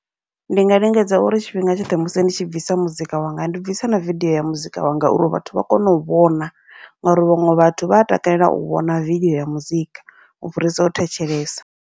Ndi nga lingedza uri tshifhinga tshoṱhe musi ndi tshi bvisa muzika wanga ndi bvisa na vidiyo ya muzika wanga, uri vhathu vha kone u vhona ngauri vhaṅwe vhathu vha a takalela u vhona vidiyo ya muzika u fhirisa u thetshelesa.